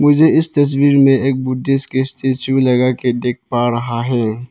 मुझे इस तस्वीर में एक बुद्धिस्ट के स्टैचू लगाके देख पा रहा है।